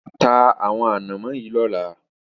Ta àwọn ànámọ́ yìí lọ́la!